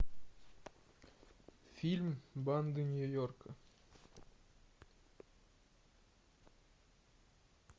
фильм банды нью йорка